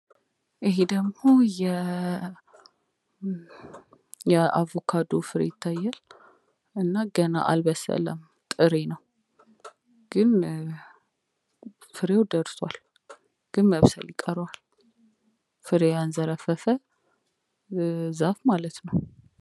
ይሄ ደግሞ የአቮካዶ ፍሬ ሲሆን፤ ገና አልበሰለም ጥሬ ነው ግን ፍሬው ደርሷል መብሰል ግን ይቀረዋል። ፍሬ ያንዘረፈፈ ዛፍ ማለት ነው።